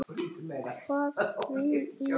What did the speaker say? Hvað vil ég?